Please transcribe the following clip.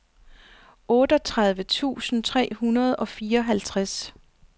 otteogtredive tusind tre hundrede og fireoghalvtreds